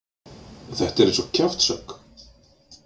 Þetta er eins og kjaftshögg.